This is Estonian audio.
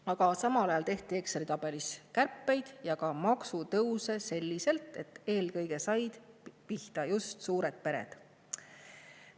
Aga samal ajal on Exceli tabelis tehtud kärpeid ja tõstetud makse selliselt, et eelkõige on pihta saanud just suured pered.